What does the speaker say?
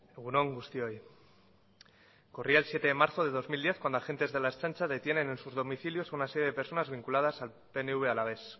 egun on guztioi corría el siete de marzo de dos mil diez cuando agentes de la ertzaintza detienen en sus domicilios a una serie de personas vinculadas al pnv alavés